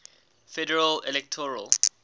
federal electoral